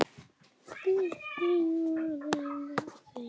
Guðný var ein af þeim.